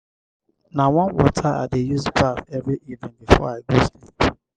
um i dey pamper um my body um wit my my baby lotion every night.